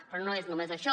però no és només això